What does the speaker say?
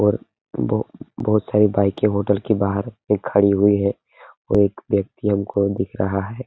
और बहोत सारी बाइकें होटल के बाहर पे खड़ी हुई है और एक व्यक्ति हमको दिख रहा है |